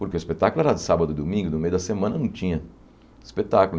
Porque o espetáculo era de sábado e domingo, no meio da semana não tinha espetáculo.